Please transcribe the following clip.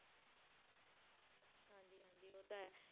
ਜੀ ਉਹ ਤਾਂ ਹੈ।